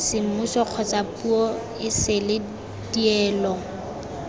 semmuso kgotsa puo esele dielo